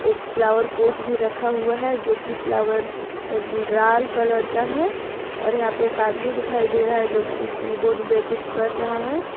एक flower pot भी रखा हुआ है जो की फ्लावर लाल कलर का है और यहां पे एक आदमी दिखाई दे रहा है जो की कीबोर्ड में कुछ कर रहा है।